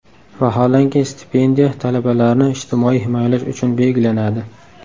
Vaholanki, stipendiya talabalarni ijtimoiy himoyalash uchun belgilanadi.